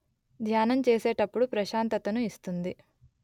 ధ్యానం చేసేటప్పుడు ప్రశాంతతను ఇస్తుంది